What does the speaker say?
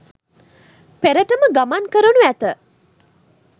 පෙරටම ගමන් කරනු ඇත